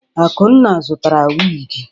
Akunna zụtara wigi.